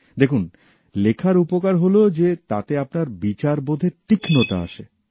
দেখুন লেখার উপকার হল যে তাতে আপনার বিচারবোধে তীক্ষ্ণতা আসে